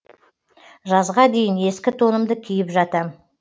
жазға дейін ескі тонымды киіп жатам